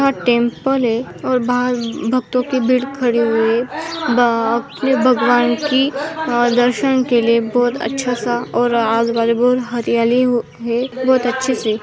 यहाँ टेम्पल है और बाहर भक्तों की भीड़ खड़ी हुई है ब आपके भगवान की दर्शन के लिए बहुत अच्छासा और आसपास बहुत हरियाली है बहुत अच्छे से।